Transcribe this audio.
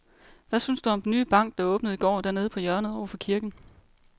Hvad synes du om den nye bank, der åbnede i går dernede på hjørnet over for kirken?